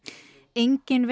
engin